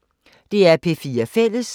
DR P4 Fælles